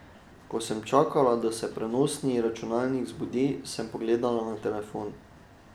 Ko sem čakala, da se prenosni računalnik zbudi, sem pogledala na telefon.